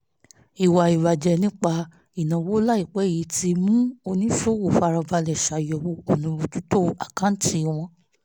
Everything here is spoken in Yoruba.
ìwà ìbàjẹ́ nípa ìnáwó láìpẹ́ yìí ti mú ọ̀pọ̀ oníṣòwò fara balẹ̀ ṣàyẹ̀wò ọ̀nà bójú tó àkáǹtì wọn